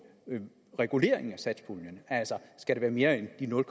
reguleringen af satspuljen altså skal det være mere end de nul